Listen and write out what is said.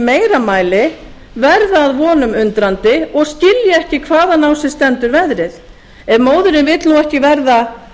meira mæli verða að vonum undrandi og skilja ekki hvaðan á sig stendur veðrið ef móðirin vill nú verða